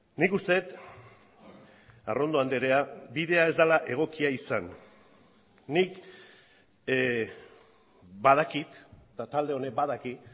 nik uste dut arrondo andrea bidea ez dela egokia izan nik badakit eta talde honek badaki